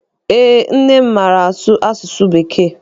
Eé, nne m maara asụ asụsụ bekee.